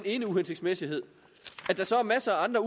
ene uhensigtsmæssighed at der så er masser af andre